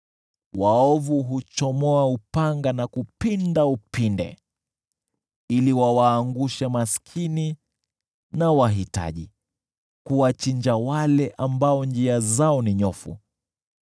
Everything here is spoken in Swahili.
Waovu huchomoa upanga na kupinda upinde, ili wawaangushe maskini na wahitaji, kuwachinja wale ambao njia zao ni nyofu.